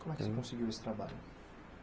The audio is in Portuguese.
Como é que você conseguiu esse trabalho?